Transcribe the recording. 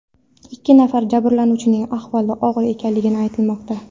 Ikki nafar jabrlanuvchining ahvoli og‘ir ekanligi aytilmoqda.